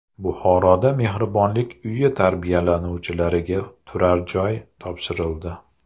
Buxoroda mehribonlik uyi tarbiyalanuvchilariga turarjoy topshirildi.